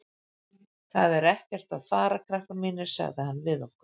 Það er ekkert að fara, krakkar mínir, sagði hann við okkur.